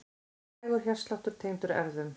Hægur hjartsláttur tengdur erfðum